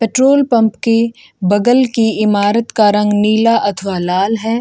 Petrol pump की बगल के इमारत का रंग नीला अथवा लाल हैं।